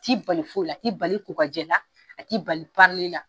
A t'i bali foyi la a t'i bali kokajɛ la a t'i bali la.